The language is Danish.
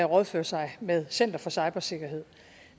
rådføre sig med center for cybersikkerhed